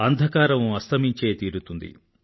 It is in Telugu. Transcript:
అంధకారం అస్తమించే తీరుతుంది